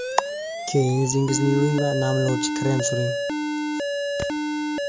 Keyin yuzingizni yuving va namlovchi krem suring.